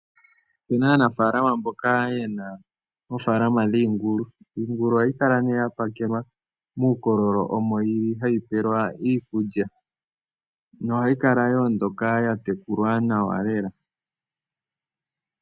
Oou na aanafaalama mboka ye na oofaalama dhiingulu. Iingulu oha yi kala ne ya pakelwa muukololo, omo yi li ha yi pelwa iikulya noha yi kala yo ondoka ya tekulwa nawa lela.